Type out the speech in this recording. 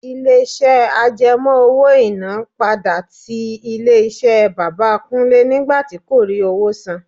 Ilé-iṣẹ́ àjẹmó owó-iná padà tí ilé-iṣẹ́ bàbà Kúnlẹ́ nígbà tí kò rí owó san.